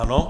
Ano.